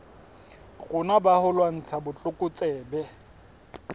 rona ba ho lwantsha botlokotsebe